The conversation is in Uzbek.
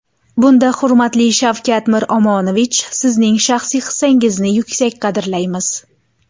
Bunda, hurmatli Shavkat Miromonovich, Sizning shaxsiy hissangizni yuksak qadrlaymiz.